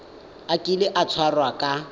a kile a tshwarwa ka